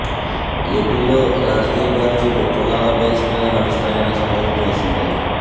ఏపీలో రాజకీయ పార్టీలు కులాల బేస్ మీద నడుస్తాయనే సంగతి తెలిసిందే